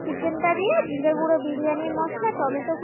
chicken টা দিয়ে জিরে গুঁড়ো biryani মশলা টমেটো